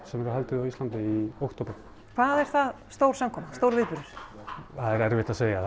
sem verður haldið á Íslandi í október hvað er það stór samkoma stór viðburður það er erfitt að segja